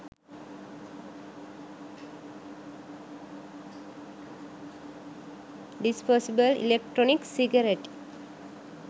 disposable electronic cigarette